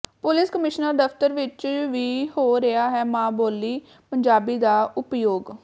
police commissioner ਦਫ਼ਤਰ ਵਿਚ ਵੀ ਹੋ ਰਿਹਾ ਹੈ ਮਾਂ ਬੋਲੀ ਪੰਜਾਬੀ ਦਾ ਉਪਯੋਗ